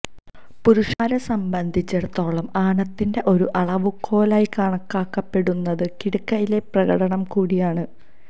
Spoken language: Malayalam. പുരുഷന്മാരെ സംബന്ധിച്ചിടത്തോളം ആണത്തിന്റെ ഒരു അളവുകോലായി കണക്കാക്കപ്പെടുന്നത് കിടക്കയിലെ പ്രകടനം കൂടിയാണ്